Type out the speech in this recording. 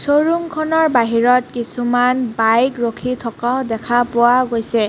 শ্ব'ৰূমখনৰ বাহিৰত কিছুমান বাইক ৰখি থকাও দেখা পোৱা গৈছে।